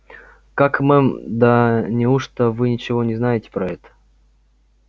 как мэм да неужто вы ничего не знаете про это